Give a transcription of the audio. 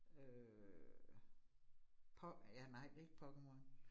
Øh. Ja, nej ikke Pokémon